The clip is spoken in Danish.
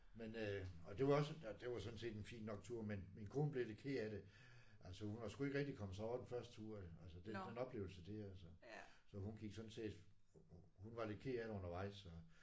Men øh og det var også det var sådan set en fin tur men min kone blev lidt ked af det altså hun var sgu ikke rigtig kommet sig over den første tur altså den oplevelse der altså så hun gik sådan set hun var lidt ked af det undervejs så